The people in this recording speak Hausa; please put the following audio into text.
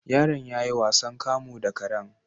Yaron yayi wasan kamu da karen